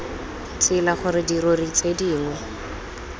tsela gore dirori tse dingwe